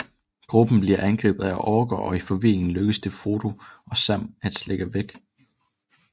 Gruppen bliver angrebet af orker og i forvirringen lykkes det Frodo og Sam at slippe væk